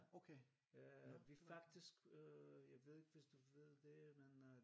Øh vi faktisk jeg ved ikke hvis du ved det men øh